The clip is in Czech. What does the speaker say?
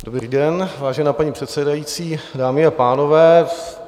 Dobrý den, vážená paní předsedající, dámy a pánové.